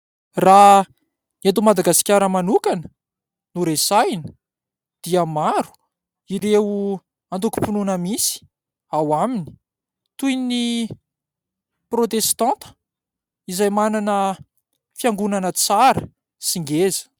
Raha eto Madagasikara manokana no resahina, dia maro ireo antokom-pinoana misy ao aminy toy ny protestanta izay manana fiangonana tsara sy ngeza.